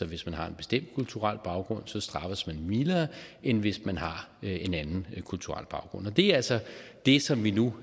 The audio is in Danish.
hvis man har en bestemt kulturel baggrund straffes man mildere end hvis man har en anden kulturel baggrund det er altså det som vi nu